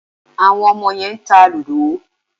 Àwọn ọmọ yẹn ń ta lúdọ̀.